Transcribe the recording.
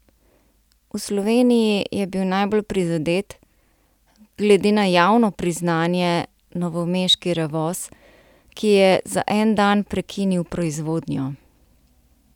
V Sloveniji je bil najbolj prizadet, glede na javno priznanje, novomeški Revoz, ki je za en dan prekinil proizvodnjo.